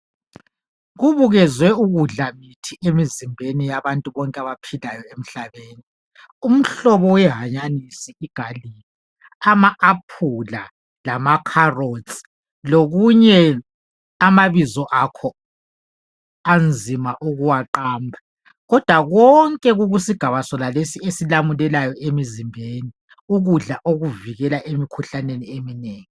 Kubukezwe ukudla mithi emizimbeni yabantu bonke abaphilayo emhlabeni , umhlobo wehanyanisi igarlic , ama aphula , amacarrots lokunye amabizo akho anzima ukuwaqamba kodwa konke kukusigaba sonalesi eailamulelayo emizimbeni , ukudla okuvikela emikhuhlaneni eminengi